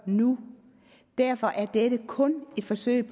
nu derfor er dette kun et forsøg